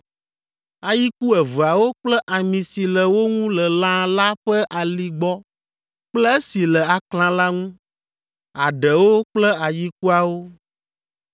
ayiku eveawo kple ami si le wo ŋu le lã la ƒe ali gbɔ kple esi le aklã la ŋu; aɖewo kple ayikuawo.